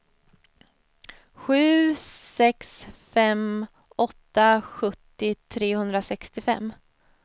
sju sex fem åtta sjuttio trehundrasextiofem